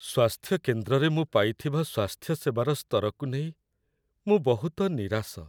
ସ୍ୱାସ୍ଥ୍ୟ କେନ୍ଦ୍ରରେ ମୁଁ ପାଇଥିବା ସ୍ୱାସ୍ଥ୍ୟସେବାର ସ୍ତରକୁ ନେଇ ମୁଁ ବହୁତ ନିରାଶ।